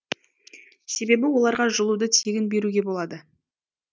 себебі оларға жылуды тегін беруге болады